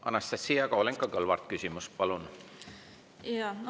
Anastassia Kovalenko-Kõlvart, küsimus palun!